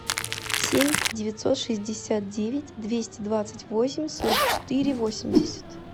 семь девятьсот шестьдесят девять двести двадцать восемь сорок четыре восемьдесят